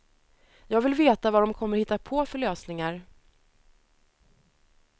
Jag vill veta vad de kommer att hitta på för lösningar.